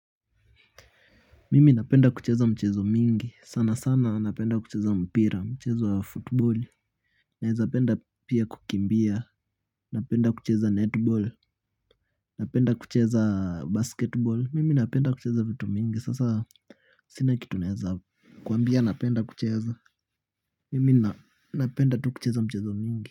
Mimi napenda kucheza michezo mingi, sana sana napenda kucheza mpira, mchezo ya football l, naeza penda pia kukimbia, napenda kucheza netball, napenda kucheza basketball, mimi napenda kucheza vitu mingi, sasa sina kitu naeza kuambia napenda kucheza, mimi napenda tu kucheza michezo mingi.